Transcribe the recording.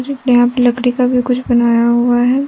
यहां पे लकड़ी का भी कुछ बनाया हुआ है।